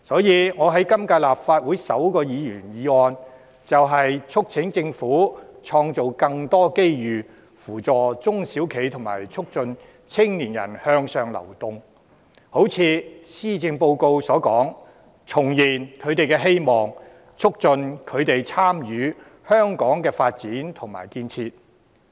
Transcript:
因此，我在今屆立法會提出的首項議員議案，便是促請政府創造更多機遇扶助中小企及促進青年人向上流動，正如施政報告所說，重燃他們的希望，促進他們參與香港的發展和建設。